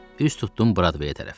Üz tutdum Bradvəyə tərəf.